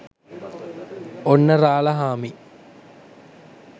ඔන්න රාලහාමි